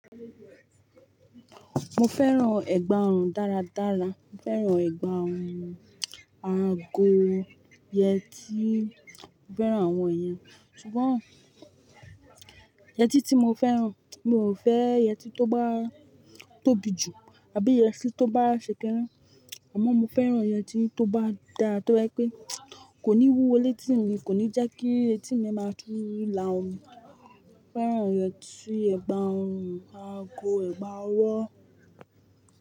Mo fẹ́ràn ẹ̀gbà ọrùn dáradára. Mo fẹ́ràn ẹ̀gbà ọrùn: ago, yẹtí. Mo fẹ́ràn àwọn èèyàn. Sugbon yẹtí tí mo fẹ́ràn, mi ò fẹ́ yẹtí tó bá tóbi jù àbí yẹtí tó bá ṣekiní. Àmọ́ mo fẹ́ràn yẹtí tó bá da tó jẹ́ pé kò ní wú o létí mi, kò ní jẹ́kí etí mi máa tú lá omi. Mo fẹ́ràn yẹtí ẹ̀gbà ọrùn ago ẹ̀gbà ọwọ́.